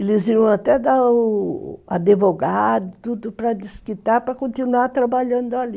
Eles iam até dar o o advogado e tudo para desquitar para continuar trabalhando ali.